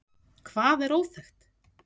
Hvað er óþekkt?